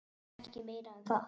Og ekki meira um það!